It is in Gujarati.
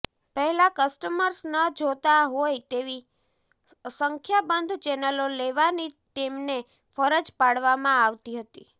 પહેલા કસ્ટમર્સ ન જોતા હોય તેવી સંખ્યાબંધ ચેનલો લેવાની તેમને ફરજ પાડવામાં આવતી હતી